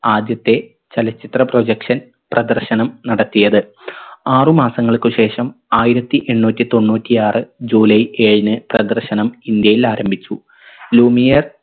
ആദ്യത്തെ ചലച്ചിത്ര projection പ്രദർശനം നടത്തിയത് ആറു മാസങ്ങൾക്ക് ശേഷം ആയിരത്തി എണ്ണൂറ്റി തൊണ്ണൂറ്റിയാറ് ജൂലൈ ഏഴിന് പ്രദർശനം ഇന്ത്യയിൽ ആരംഭിച്ചു ലൂമിയർ